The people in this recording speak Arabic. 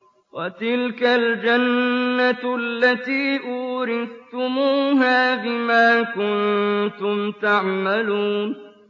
وَتِلْكَ الْجَنَّةُ الَّتِي أُورِثْتُمُوهَا بِمَا كُنتُمْ تَعْمَلُونَ